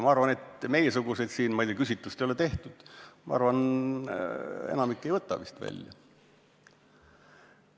Ma arvan, et meiesugused siin – ma ei tea, küsitlust ei ole tehtud –, meist enamik vist ei võta seda välja.